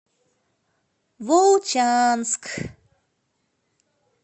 волчанск